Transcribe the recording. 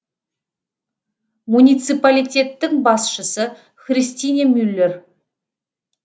муниципалитеттің басшысы христине мюллер